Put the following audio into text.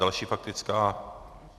Další faktická.